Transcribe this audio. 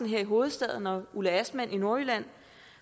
i hovedstaden og ulla astman i nordjylland